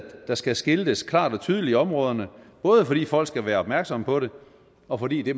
der skal skiltes klart og tydeligt i områderne både fordi folk skal være opmærksomme på det og fordi det